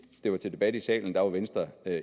det var til debat i salen var venstre